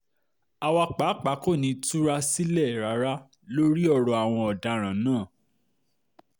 àwa pàápàá kò ní í túra um sílẹ̀ rárá lórí ọ̀rọ̀ àwọn ọ̀daràn náà um